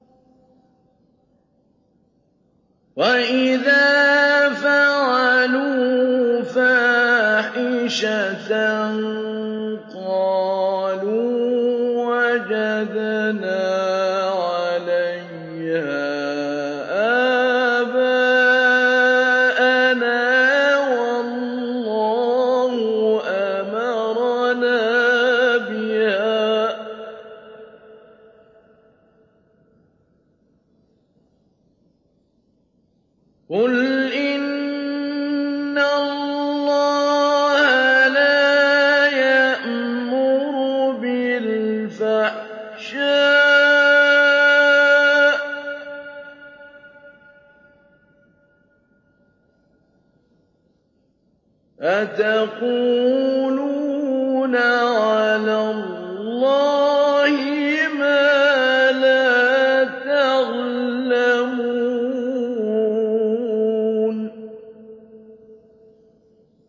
وَإِذَا فَعَلُوا فَاحِشَةً قَالُوا وَجَدْنَا عَلَيْهَا آبَاءَنَا وَاللَّهُ أَمَرَنَا بِهَا ۗ قُلْ إِنَّ اللَّهَ لَا يَأْمُرُ بِالْفَحْشَاءِ ۖ أَتَقُولُونَ عَلَى اللَّهِ مَا لَا تَعْلَمُونَ